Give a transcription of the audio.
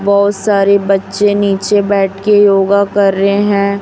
बहोत सारे बच्चे नीचे बैठ के योगा कर रहे हैं।